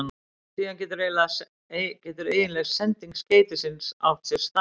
Síðan getur eiginleg sending skeytisins átt sér stað.